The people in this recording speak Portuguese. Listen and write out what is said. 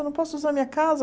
Eu não posso usar a minha casa?